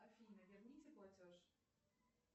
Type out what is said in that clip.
афина верните платеж